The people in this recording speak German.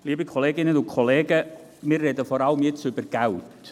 » Wir reden jetzt vor allem über Geld.